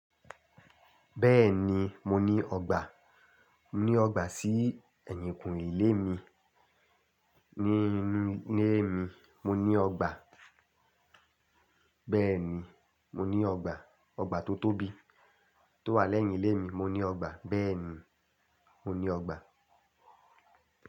Bẹ́ẹ̀ni mo ní ọgbà. Mo ní ọgbà sí ẹ̀yìnkùn ilé mi. Ni inu ile mi, mo ni ogba. Bẹ́ẹ̀ni mo ní ọgbà. Ọgbà tó tóbi tó wà lẹ́yìn ilé mi. Mo ní ọgbà. Bẹ́ẹ̀ni mo ní ọgbà.